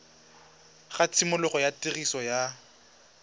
ga tshimologo ya tiriso ya